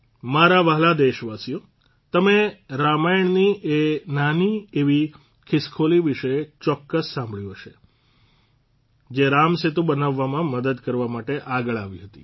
મારા વહાલા દેશવાસીઓ તમે રામાયણની એ નાની એવી ખિસકોલી વિશે ચોક્કસ સાંભળ્યું હશે જે રામસેતુ બનાવવામાં મદદ કરવા માટે આગળ આવી હતી